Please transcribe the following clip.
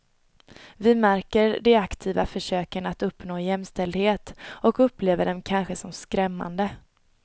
Vi märker de aktiva försöken att uppnå jämställdhet och upplever dem kanske som skrämmande.